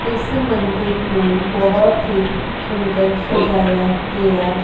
ਇਸ ਮੰਦਰ ਨੂੰ ਬਹੁਤ ਹੀ ਸੁੰਦਰ ਸਜਾਇਆ ਗਿਆ--